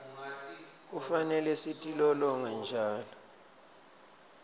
kufanele sitilolonge njalo